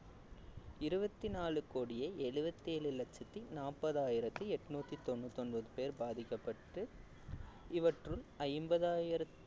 இருபத்தி நாலு கோடியே எழுபத்தி ஏழு லட்சத்தி நாற்பதாயிரத்தி எட்நூத்தி தொண்ணூத்தி ஒன்பது பேர் பாதிக்கப்பட்டு இவற்றுள் ஐம்பதாயிரம்